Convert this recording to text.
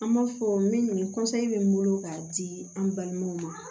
An b'a fɔ min kɔni bɛ n bolo k'a di an balimaw ma